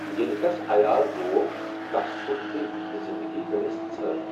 ییٚلہ تس عیال روو، تس پھٹ دل تہٕ زندگی گٔیس ژھٔر۔